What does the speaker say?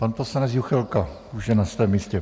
Pan poslanec Juchelka, už je na svém místě.